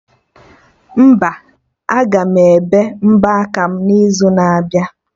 Mba, aga m ebe mbọ aka m n'izu na abịa